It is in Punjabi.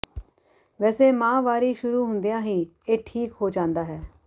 ਵੈਸੇ ਮਾਂਹਵਾਰੀ ਸ਼ੁਰੂ ਹੁੰਦਿਆਂ ਹੀ ਇਹ ਠੀਕ ਹੋ ਜਾਂਦਾ ਹੈ